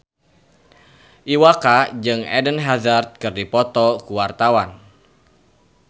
Iwa K jeung Eden Hazard keur dipoto ku wartawan